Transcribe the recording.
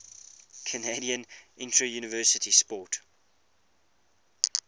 canadian interuniversity sport